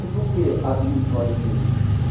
E por que abriu os olhos dele?